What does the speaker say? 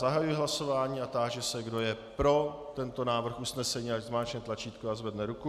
Zahajuji hlasování a táži se, kdo je pro tento návrh usnesení, ať zmáčkne tlačítko a zvedne ruku.